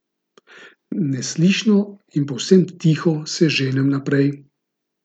Neslišno in povsem tiho se ženem naprej.